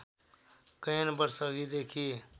कैयन वर्ष अघिदेखि